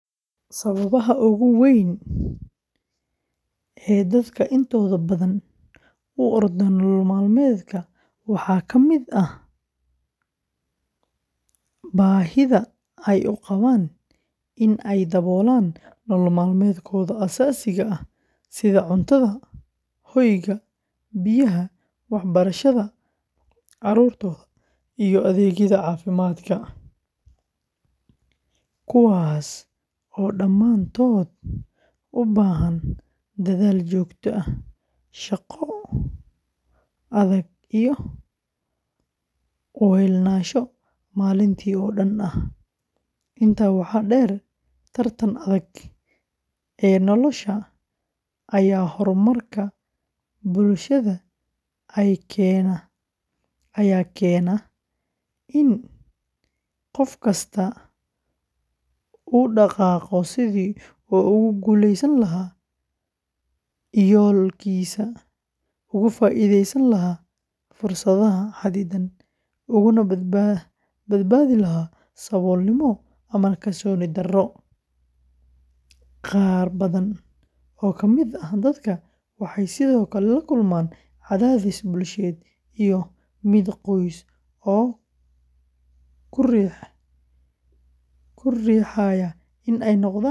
Sababaha ugu waaweyn ee dadka intooda badan u ordaan nolol maalmeedka waxaa ka mid ah baahida ay u qabaan in ay daboolaan nolol maalmeedkooda aasaasiga ah sida cuntada, hoyga, biyaha, waxbarashada carruurtooda, iyo adeegyada caafimaadka, kuwaas oo dhammaantood u baahan dadaal joogto ah, shaqo adag, iyo u heelnaansho maalintii oo dhan ah. Intaa waxaa dheer, tartanka adag ee nolosha iyo horumarka bulshada ayaa keena in qof kastaa u dhaqaaqo sidii uu ugu guuleysan lahaa yoolkiisa, uga faa’iideysan lahaa fursadaha xadidan, ugana badbaadi lahaa saboolnimo ama kalsooni darro. Qaar badan oo ka mid ah dadka waxay sidoo kale la kulmaan cadaadis bulsheed iyo mid qoys oo ku riixaya inay noqdaan kuwo firfircoon.